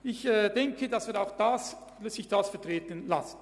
Ich denke, dass sich dies vertreten lässt.